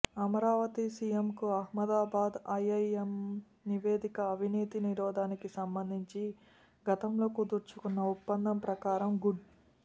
అమరావతిసీఎంకు Ahmedabad IIM నివేదికఅవినీతి నిరోధానికి సంబంధించి గతంలో కుదర్చుకున్న ఒప్పందం ప్రకారం గుడ్